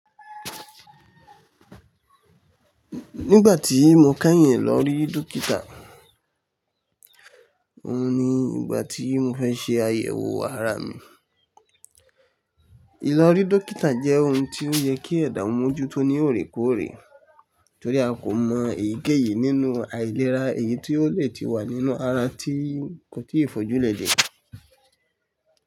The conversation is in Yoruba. Nígbà tí mo kàyíǹ lọ rí dókítà, òhun ni ìgbà tí mo fẹ́ ṣe àyẹ̀wò ara mi. Ìlọ rí dókítà jẹ́ ohun tí ó yẹ kí ẹ̀dà mójú tó ní òré kóòrè, torí a kò mọ èyíkéyìí nínú àìlera èyí tí ó lè ti wà nínú ara tí kò tíì fojú lẹ̀ jẹ.